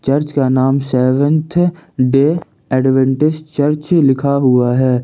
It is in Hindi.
चर्च का नाम सेवंथ डे एड्वेंटिस्ट चर्च लिखा हुआ है।